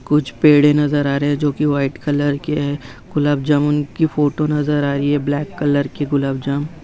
कुछ पेड़े नजर आ रही है जो की व्हाइट कलर की है गुलाब जामुन की फोटो नजर आ रही है ब्लैक कलर की गुलाब जामुन--